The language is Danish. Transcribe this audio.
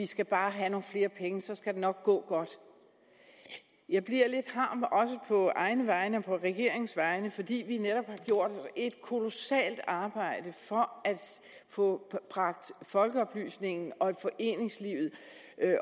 skal have nogle flere penge så skal det nok gå godt jeg bliver lidt harm på egne vegne og også på regeringens vegne fordi vi netop har gjort et kolossalt arbejde for at få bragt folkeoplysningen og foreningslivet